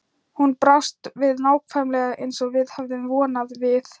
Hún brást við nákvæmlega eins og við höfðum vonað: Við